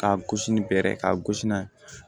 Ka gosi ni bɛrɛ ye k'a gosi n'a ye